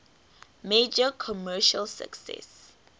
major commercial success